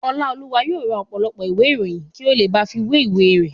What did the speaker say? Ọláolúwa yóò ra ọ̀pọ̀lọpọ̀ ìwé ìròyìn kí ó ba lè fi wé ìwé rẹ̀